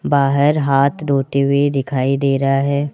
बाहर हाथ धोते हुए दिखाई दे रहा है।